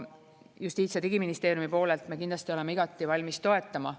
Justiits- ja Digiministeeriumi poolelt me kindlasti oleme igati valmis toetama.